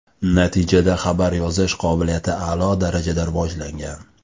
Natijada xabar yozish qobiliyati a’lo darajada rivojlangan.